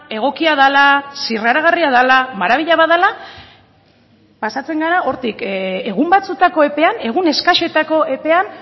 egokia dela zirraragarria dela marabilla bat dela pasatzen gara hortik egun batzuetako epean egun eskasetako epean